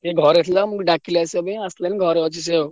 ସିଏ ଘରେ ଥିଲା ଡାକିଲା ଆସିବା ପାଇଁ ଆସିଥିଲି ସେ ଘରେ ଅଛି ସେ।